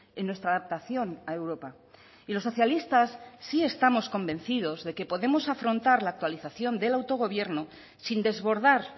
en nuestra adaptación a europa y los socialistas sí estamos convencidos de que podemos afrontar la actualización del autogobierno sin desbordar